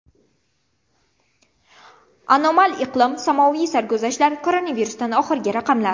Anomal iqlim, samoviy sarguzashtlar, koronavirusdan oxirgi raqamlar.